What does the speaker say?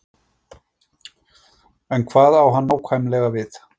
En hvað á hann nákvæmlega við?